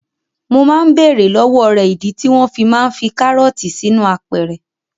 Mo máa ń bèèrè lọ́wọ́ rẹ̀ ìdí tí wọ́n fi máa ń fi karọọti sínú apẹ̀rẹ̀.